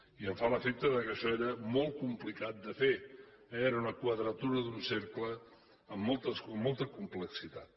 i em fa l’efecte que això era molt complicat de fer eh era una quadratura d’un cercle amb molta complexitat